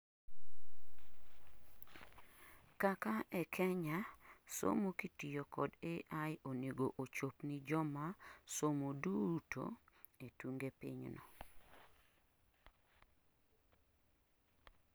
kaka e kKenya, somo kitiyo kod AI onego ochop ni joma somo duto etunge pinyno